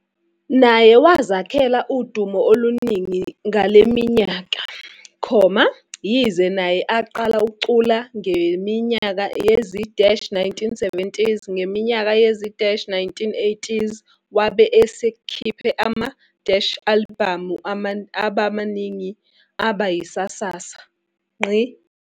naye wazakhela udumo oluningi ngaleminyeka, yize naye aqala ukucula ngenimnyaka yezi-1970s ngeminyaka yezi-1980s wabe eskhiphe ama-alibhamu amaningi aba yisasasa.